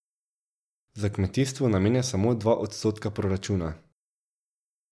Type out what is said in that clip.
Za kmetijstvo namenja samo dva odstotka proračuna.